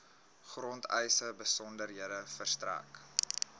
grondeise besonderhede verstrek